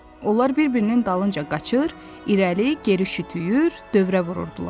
Onlar bir-birinin dalınca qaçır, irəli-geri şütüyür, dövrə vururdular.